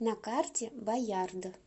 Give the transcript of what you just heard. на карте баярд